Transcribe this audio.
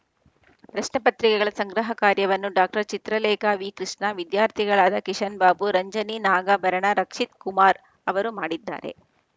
ಪ್ರಶ್ನೆ ಪತ್ರಿಕೆಗಳ ಸಂಗ್ರಹ ಕಾರ್ಯವನ್ನು ಡಾಕ್ಟರ್ ಚಿತ್ರಲೇಖಾ ವಿ ಕೃಷ್ಣ ವಿದ್ಯಾರ್ಥಿಗಳಾದ ಕಿಶನ್‌ಬಾಬು ರಂಜಿನಿ ನಾಗಾಭರಣ ರಕ್ಷಿತ್‌ ಕುಮಾರ್‌ ಅವರು ಮಾಡಿದ್ದಾರೆ